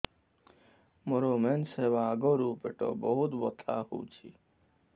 ମୋର ମେନ୍ସେସ ହବା ଆଗରୁ ପେଟ ବହୁତ ବଥା ହଉଚି